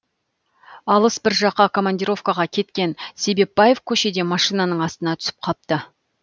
алыс бір жаққа командировкаға кеткен себепбаев көшеде машинаның астына түсіп қапты